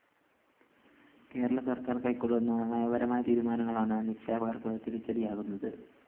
കേരള സര്‍ക്കാര്‍ കൈക്കൊള്ളുന്ന നയപരമായ തീരുമാനങ്ങളാണ് നിക്ഷേപകര്‍ക്ക് തിരിച്ചടിയാകുന്നത്